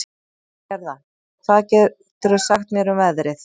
Gerða, hvað geturðu sagt mér um veðrið?